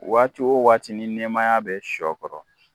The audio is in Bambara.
Waati o waati ni nɛmaya bɛ sɔ kɔrɔ